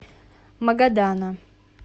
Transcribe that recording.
магадана